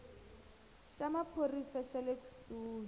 xa maphorisa xa le kusuhi